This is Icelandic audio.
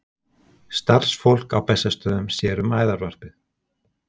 Starfsfólk á Bessastöðum sér um æðarvarpið.